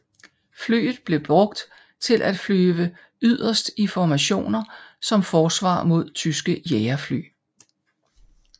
Flyet blev brugt til at flyve yderst i formationer som forsvar mod tyske jagerfly